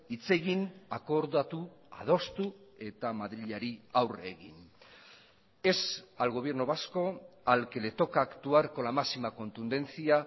hitz egin akordatu adostu eta madrilari aurre egin es al gobierno vasco al que le toca actuar con la máxima contundencia